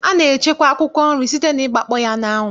A na-echekwa akwụkwọ nri site n'ịgbakpọ ya n'anwụ.